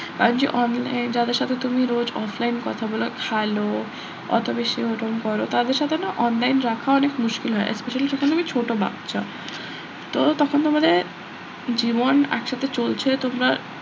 আজ যাদের সাথে তুমি রোজ offline এ কথা বলো খেলো অত বেশি ওরম করো তাদের সাথে না online রাখা অনেক মুশকিল হয় Specially তখন আমি ছোট বাচ্চা তো তখন তোমাদের জীবন একসাথে চলছে তোমরা,